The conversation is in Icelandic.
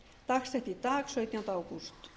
dagsett í dag sautjánda ágúst